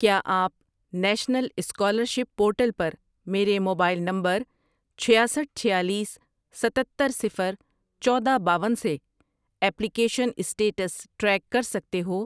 کیا آپ national scholarship portal پر میرے موبائل نمبرچھیاسٹھ ،چھیالیس، ستتر، صفر، چودہ، باون، سے ایپلیکیشن اسٹیٹس ٹریک کر سکتے ہو؟